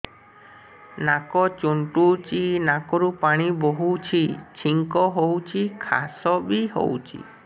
ନାକ ଚୁଣ୍ଟୁଚି ନାକରୁ ପାଣି ବହୁଛି ଛିଙ୍କ ହଉଚି ଖାସ ବି ହଉଚି